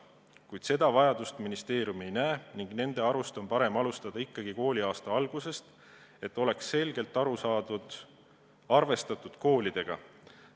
Kuid seda vajadust ministeerium ei näe ning nende arust on parem alustada ikkagi kooliaasta alguses, et oleks selgelt arvestatud koolidega.